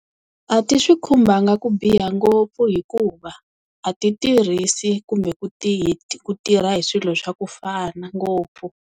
A ti swi khumbanga ku biha ngopfu hikuva a ti tirhisi kumbe ku ti ku tirha hi swilo swa ku fana ngopfu.